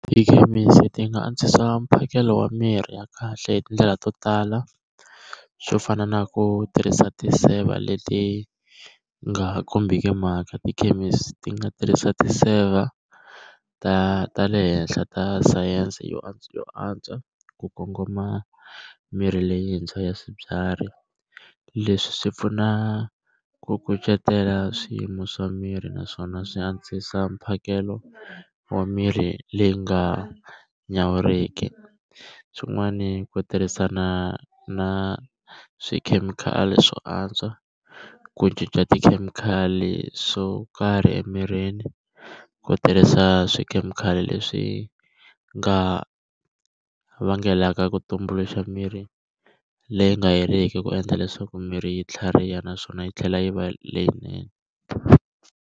Tikhemisi ti nga antswisa mphakelo wa mirhi ya kahle hi tindlela to tala, swo fana na ku tirhisa ti-saver leti nga ha kombiki mhaka. Tikhemisi ti nga tirhisa ti saver ta ta le henhla ta sayense yo yo antswa ku kongoma mirhi leyintshwa ya swibyari. Leswi swi pfuna ku kucetela swiyimo swa miri naswona swi antswisa mphakelo wa mirhi leyi nga nyawuriki. Swin'wani ku tirhisana na swi khemikhali swo antswa, ku cinca swo karhi emirini, ku tirhisa a swikhemikhali leswi nga vangelaka ku tumbuluxa mirhi leyi nga heriki, ku endla leswaku miri yi tlhariha naswona yi tlhela yi va leyinene.